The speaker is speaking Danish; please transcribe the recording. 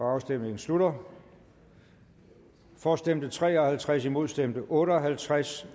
afstemning slutter for stemte tre og halvtreds imod stemte otte og halvtreds